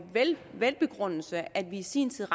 velbegrundet at vi i sin tid